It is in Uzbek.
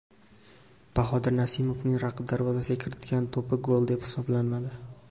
Bahodir Nasimovning raqib darvozasiga kiritgan to‘pi gol deb hisoblanmadi.